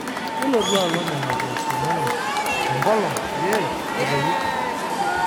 Nilotu Alo Nena pooosho inonok tenkolong pee etoyu